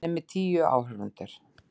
Hann er með tíu áhorfendur.